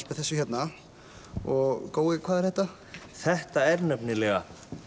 með þessu hérna og gói hvað er þetta þetta er nefnilega